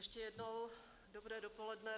Ještě jednou dobré dopoledne.